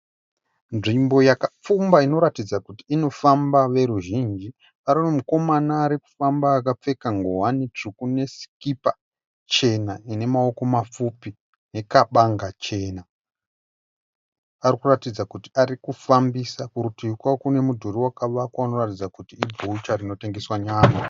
Nzvimbo yakapfumba inoratidza kuti inofamba veruzhinji. Pane mumwe mukomana ari kufamba akapfeka ngowani tsvuku nesikipa chena ine maoko mapfupi nekabanga chena. Ari kuratidza kuti ari kufambisa. Kurutivi kwake kune mudhuri wakavakwa unoratidza kuti ibhucha rinotengeswa nyama.